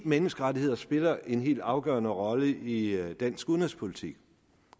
menneskerettigheder spiller en helt afgørende rolle i dansk udenrigspolitik